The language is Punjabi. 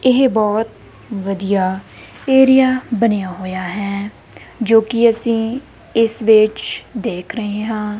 ਇਹ ਬੋਹੁਤ ਵਧੀਆ ਏਰੀਆ ਬਣਿਆ ਹੋਇਆ ਹੈ ਜੋ ਕੀ ਅੱਸੀ ਇੱਸ ਵਿੱਚ ਦੇਖ ਰਹੇ ਹਾਂ।